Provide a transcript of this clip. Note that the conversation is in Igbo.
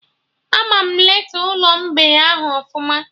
Ama eleta Ụlọ mgbei ahụ ọfụma